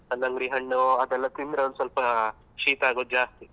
ಕಲ್ಲಂಗಡಿ ಹಣ್ಣು ಅದೆಲ್ಲ ತಿಂದ್ರೆ ಒಂದ್ ಸ್ವಲ್ಪ ಶೀತ ಆಗೋದು ಜಾಸ್ತಿ.